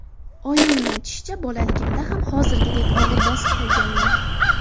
Oyimning aytishicha, bolaligimda ham hozirgidek og‘ir-bosiq bo‘lganman.